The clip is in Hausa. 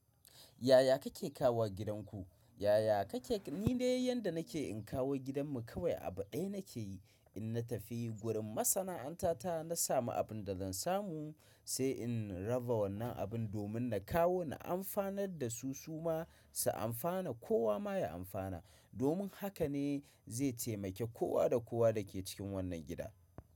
Yaya kake kawowa gidanku? Yaya kake? Ni dai yanda nake in kawo gidanmu kawai abu ɗaya nake yi in na tafi gurin masana'anta ta na samu abun da zan samu sai in raba wannan abin domin na kawo na amfanar da su su ma su amfana kowa ma ya amfana domin haka ne zai taimaki kowa da kowa da ke cikin wannan gida.